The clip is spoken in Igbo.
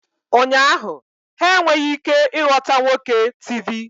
Ụnyaahụ, ha enweghị ike ịghọta nwoke Tivi